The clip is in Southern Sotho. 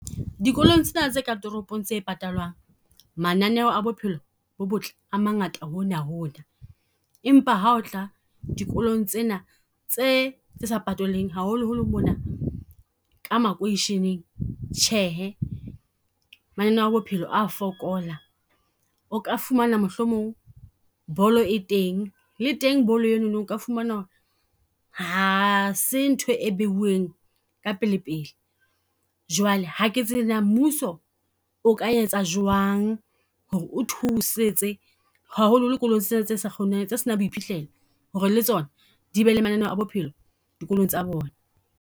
Dikolong tsena tse ka toropong tse patalang, mananeo a bophelo bo botle a mangata hona hona. Empa ha o tla dikolong tsena tse, tse sa patalweng. Haholoholo mona ka makoisheneng, Tjhehe mananeo a bophelo a fokola. O ka fumana mohlomong bolo e teng, le teng bolo e nono o ka fumana ha se ntho e beuweng ka pele pele. Jwale hake tsebe na mmuso o ka etsa jwang ho re o thusetse haholoho kolo tsena tse sa , tse se nang boiphihlelo ho re le tsona di be le mananeo a bophelo dikolong tsa bona.